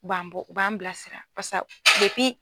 b'an bɔ u b'an bilasira pasa depi